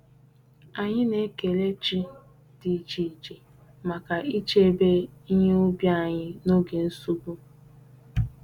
Anyị na-ekele chi dị iche iche maka ichebe ihe ubi anyị n'oge nsogbu.